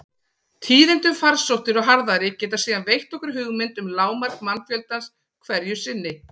Tíðindi um farsóttir og harðæri geta síðan veitt okkur hugmynd um lágmark mannfjöldans hverju sinni.